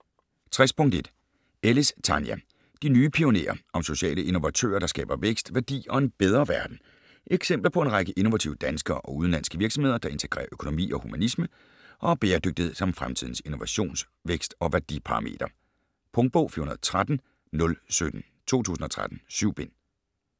60.1 Ellis, Tania: De nye pionerer: om sociale innovatører, der skaber vækst, værdi og en bedre verden Eksempler på en række innovative danske og udenlandske virksomheder, der integrerer økonomi og humanisme og har bæredygtighed som fremtidens innovations-, vækst- og værdiparameter. Punktbog 413017 2013. 7 bind.